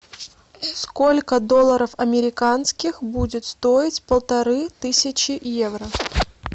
сколько долларов американских будет стоить полторы тысячи евро